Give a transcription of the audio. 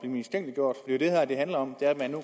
man